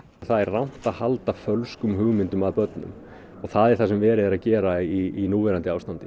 það er rangt að halda fölskum hugmyndum að börnum það er það sem verið er að gera í núverandi ástandi